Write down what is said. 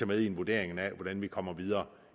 med i vurderingen af hvordan vi kommer videre